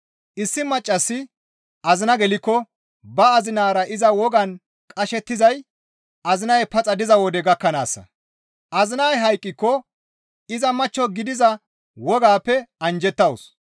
Issi maccassi azina gelikko ba azinara iza wogan qashettizay azinay paxa diza wode gakkanaassa; azinay hayqqiko iza machcho gidiza wogaappe anjjettawus.